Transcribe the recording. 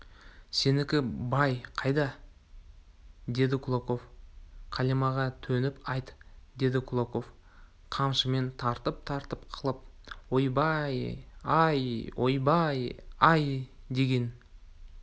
сенікі бай қайда деді кулаков қалимаға төніп айт деді кулаков қамшымен тартып-тартып қалып ойбай-ай ойбай-ай деген